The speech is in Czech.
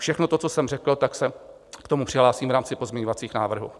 Všechno to, co jsem řekl, tak se k tomu přihlásím v rámci pozměňovacích návrhů.